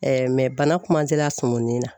bana a sumunin na